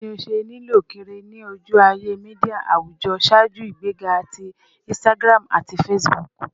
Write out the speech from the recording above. Bawo ni o ṣe lilö kiri ni oju-aye media awujọ ṣaaju igbega ti Instagram ati Facebook?